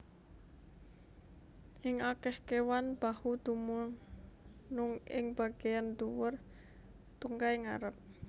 Ing akèh kéwan bahu dumunung ing bagéan ndhuwur tungkai ngarep